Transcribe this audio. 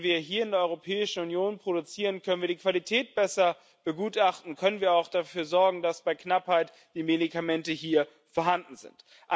Wenn wir hier in der Europäischen Union produzieren, können wir die Qualität besser begutachten, können wir auch dafür sorgen, dass bei Knappheit die Medikamente hier vorhanden sind.